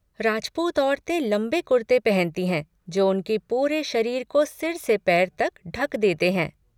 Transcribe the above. राजपूत औरतें लंबे कुर्ते पहनती हैं जो उनके पूरे शरीर को सिर से पैर तक ढक देते हैं।